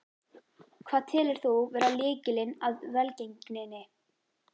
Hvað telur þú vera lykilinn að velgengninni?